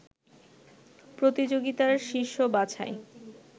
প্রতিযোগিতার শীর্ষ বাছাই